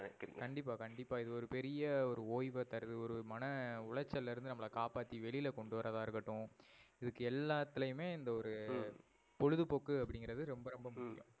correct கண்டிப்பா கண்டிப்பா. இது ஒரு பெரிய ஒய்வ தருது. ஒரு மன உடைசலேந்து நம்பல காப்பாத்தி வெளில கொண்டு வரதா இருகடோம். இதுக்கு எல்லாத்துலயுமே இந்த ஒரு ஹம் பொழுது போக்கு அப்டின்னுறது ரொம்ப ரொம்ப ஹம் முக்கியம்.